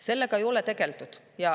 Sellega ei ole tegeletud.